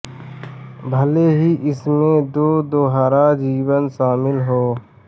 भले ही इसमें दो दोहरा जीवन शामिल हो